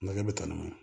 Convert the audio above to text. Makɛ bɛ taa n'o ye